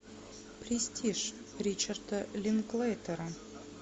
престиж ричарда линклейтера